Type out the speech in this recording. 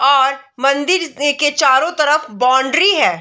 और मंदिर एए के चारो तरफ बाउंड्री है।